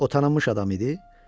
O tanınmış adam idi?